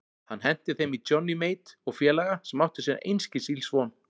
Hann henti þeim í Johnny Mate og félaga sem áttu sér einskis ills von.